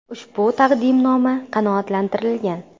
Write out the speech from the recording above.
Ushbu taqdimnoma qanoatlantirilgan.